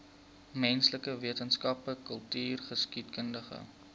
menslike wetenskappe kultureelgeskiedkundige